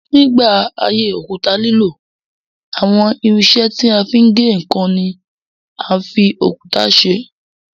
Nígbà ayé òkúta lílò, àwọn irinṣẹ́ tí a fi ń gé ǹkan ni a fi òkúta ṣe.